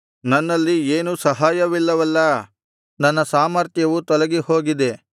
ನನ್ನಲ್ಲಿ ಏನೂ ಸಹಾಯವಿಲ್ಲವಲ್ಲಾ ನನ್ನ ಸಾಮರ್ಥ್ಯವು ತೊಲಗಿಹೋಗಿದೆ